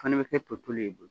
Fana bɛ kɛ to tolen ye i bolo